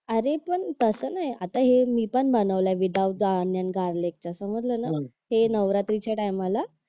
अरे पण तसं नाही आता हे मी पण बनवलंय ओनियन गार्लिक समजलं ना हे नवरात्रीच्या टाईमला